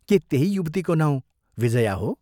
के त्यही युवतीको नाउँ विजया हो?